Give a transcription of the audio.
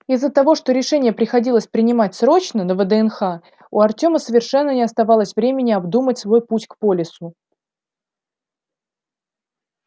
из-за того что решение приходилось принимать срочно на вднх у артема совершенно не оставалось времени обдумать свой путь к полису